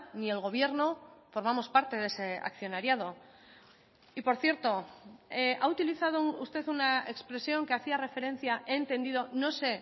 ni el gobierno formamos parte de ese accionariado y por cierto ha utilizado usted una expresión que hacía referencia he entendido no sé